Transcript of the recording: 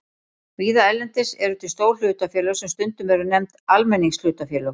Víða erlendis eru til stór hlutafélög sem stundum eru nefnd almenningshlutafélög.